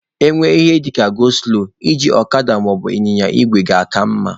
E nwee ihe dịka 'go slow' iji ọkada maọbụ ịnyịnya igwe na-aka mma